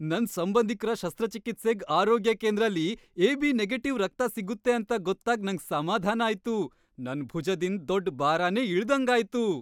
ನನ್ ಸಂಬಂಧಿಕ್ರ ಶಸ್ತ್ರಚಿಕಿತ್ಸೆಗ್ ಆರೋಗ್ಯ ಕೇಂದ್ರಲಿ ಎಬಿ ನೆಗೆಟಿವ್ ರಕ್ತ ಸಿಗುತ್ತೆ ಅಂತ ಗೊತ್ತಾಗ್ ನಂಗ್ ಸಮಾಧಾನ ಆಯ್ತು. ನನ್ ಭುಜದಿಂದ್ ದೊಡ್ ಬಾರನೆ ಇಳ್ದಂಗ್ ಆಯ್ತು.